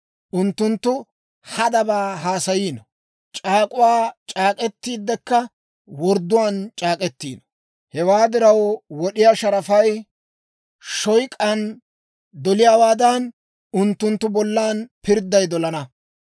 Unttunttu hadabaa haasayiino; c'aak'uwaa c'aak'k'etiiddekka wordduwaan c'aak'k'iino. Hewaa diraw, wod'iyaa sharafay shoyk'aan doliyaawaadan, unttunttu bollan pirdday dolana.